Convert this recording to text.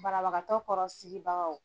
Banabagatɔ kɔrɔ sigibagaw,